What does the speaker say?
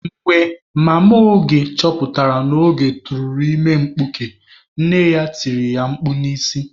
Mgbe mama Oge chọpụtara na Oge tụtara ime mkpuke, nne ya tiri ya mkpu n'isi.